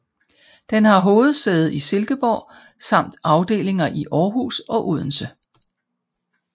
Den har hovedsæde i Silkeborg samt afdelinger i Aarhus og Odense